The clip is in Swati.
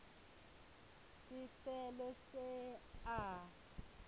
sicelo se a